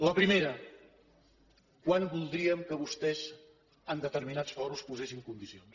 la primera quan voldríem que vostès en determinats fòrums posessin condicions